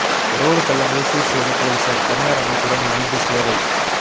road பள்ளங்களை சீர் செய்த போலீசார் தனியார் அமைப்புடன் இணைந்து சேவை